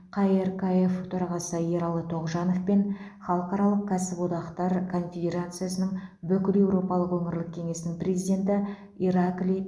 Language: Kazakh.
қркф төрағасы ералы тоғжанов пен халықаралық кәсіподақтар конфедерациясының бүкілеуропалық өңірлік кеңесінің президенті ираклий